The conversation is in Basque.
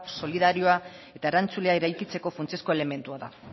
solidarioa eta erantzulea eraikitzeko funtsezko elementua da